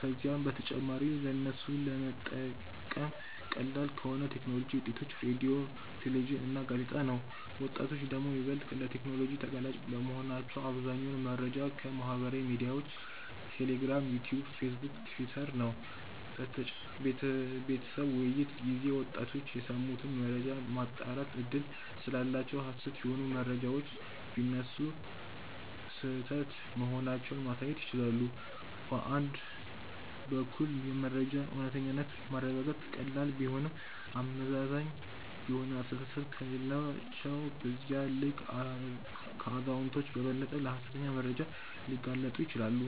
ከዚያም በተጨማሪ ለነሱ ለመጠቀም ቀላል ከሆን የቴክኖሎጂ ውጤቶች(ሬድዮ፣ ቴሌቪዥን እና ጋዜጣ) ነው። ወጣቶች ደግሞ ይበልጥ ለቴክኖሎጂ ተጋላጭ በመሆናቸው አብዛኛውን መረጃዎች ከ ማህበራዊ ሚድያዎች(ቴሌግራም፣ ዩትዩብ፣ ፌስቡክ፣ ቲውተር...) ነው። በቤተሰብ ውይይት ጊዜ ወጣቶች የሰሙትን መረጃ የማጣራት እድል ስላላቸው ሀሰት የሆኑ መረጃዎች ቢነሱ ስህተት መሆናቸውን ማሳየት ይችላሉ። በአንድ በኩል የመረጃን እውነተኛነት ማረጋገጥ ቀላል ቢሆንም አመዛዛኝ የሆነ አስተሳሰብ ከሌላቸው በዚያው ልክ ከአዛውንቶች በበለጠ ለሀሰተኛ መረጃዎች ሊጋለጡ ይችላሉ።